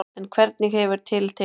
En hvernig hefur til tekist.